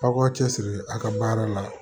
Aw k'aw cɛ siri a ka baara la